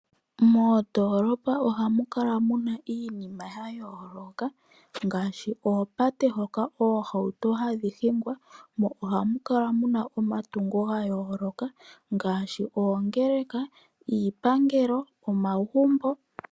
Moondolopa ohamu kala muna iinima yayooloka ngaashi: oopate hoka oohauto hadhi hingwa mo ohamu kala muna omatungo gayooloka ngaashi: oongeleka, iipangelo nomagumbo.